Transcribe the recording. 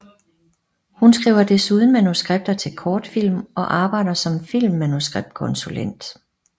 Hun skriver desuden manuskripter til kortfilm og arbejder som filmmanuskriptkonsulent